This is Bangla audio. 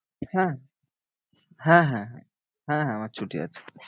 হ্যাঁ হ্যাঁ হ্যাঁ হ্যাঁ হ্যাঁ আমার ছুটি আছে।